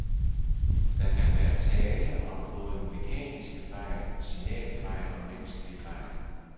Der kan være tale om både mekaniske fejl, signalfejl og menneskelige fejl.